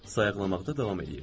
Sayqlamaqda davam edirdim.